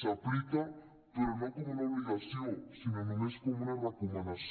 s’aplica però no com una obligació sinó només com una recomanació